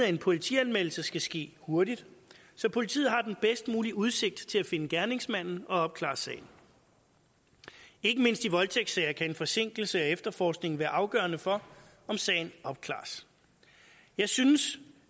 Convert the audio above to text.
en politianmeldelse skal ske hurtigt så politiet har den bedst mulige udsigt til at finde gerningsmanden og opklare sagen ikke mindst i voldtægtssager kan en forsinkelse af efterforskningen være afgørende for om sagen opklares jeg synes